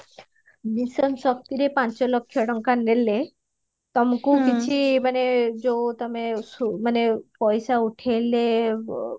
mission ଶକ୍ତିରେ ପାଞ୍ଚ ଲକ୍ଷ ଟଙ୍କା ନେଲେ ତମକୁ କିଛି ମାନେ ଯୋଉ ତମ ମାନେ ସୁ ମାନେ ପଇସା ଉଠେଇଲେ